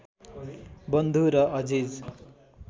बन्धु र अजिज